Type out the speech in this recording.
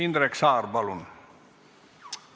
Indrek Saar, palun!